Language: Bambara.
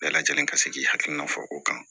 Bɛɛ lajɛlen ka se k'i hakilina fɔ o kan